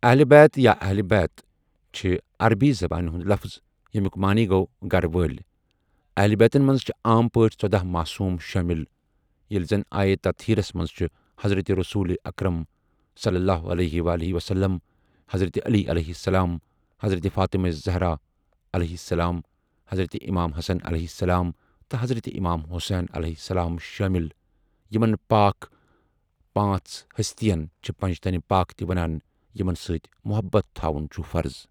اہلِ بیت یا اہلبیت چھ عربی زبانہ ہُنٛد لفظ یمیک معنی گو گھرِ والی اہلبیتن مَنٛز چھ عام پاٹھی ژودہ معصوم شٲمِل ییلہ زن آیہ تطہیرس مَنٛز چھ حضرت رسول اکرمؐ، حضرت علیؑ، حضرت فاطمہ الزہراؑ، حضرت امام حسنؑ تہ حضرت امام حسینؑ شٲمِل یمن پاک پانژھ ہستین چھ پنجتن پاک تہ ونان یمن سٟتؠ محبت تھاون چھ فرض.